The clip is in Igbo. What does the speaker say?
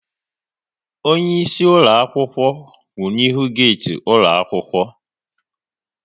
Onyeisi ụlọakwụkwọ kwụ n'ihu geeti ụlọaɑkwụkwọ